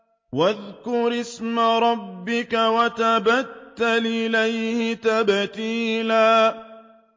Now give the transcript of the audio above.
وَاذْكُرِ اسْمَ رَبِّكَ وَتَبَتَّلْ إِلَيْهِ تَبْتِيلًا